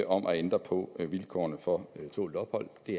om at ændre på vilkårene for tålt ophold det